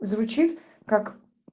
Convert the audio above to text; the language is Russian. звучит как